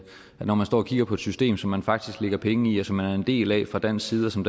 når man står og kigger på system som man faktisk lægger penge i og som man er en del af fra dansk side og som